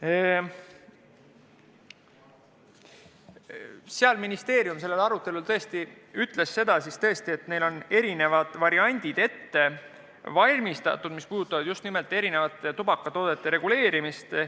Sellel arutelul ministeeriumi esindaja ütles seda, et neil on tõesti ette valmistatud erinevad variandid, mis puudutavad just nimelt erinevate tubakatoodete müügi reguleerimist.